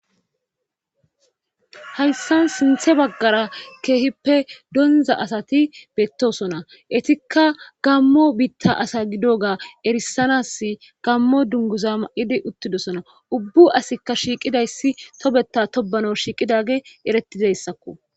hayssan sinthe baggara keehippe donza asati beettosona etikka gammo biitta asa gidoga erisanas gammo dunguza ma7idi uttidosona ubbu asikka shiiqidayssi tobeta tobano shiiqidage erettidayssakko